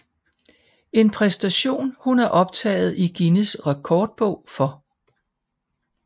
En præstation hun er optaget i Guinness Rekordbog for